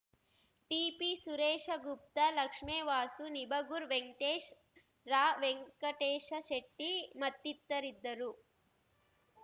TP Sureshgupta Lakshmevasu Nibagur Venkatesh Ravenkateshashetty ಮತ್ತಿತರಿದ್ದರು